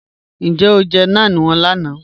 Níjẹ̀ o jẹ́ náàń wọn lànà?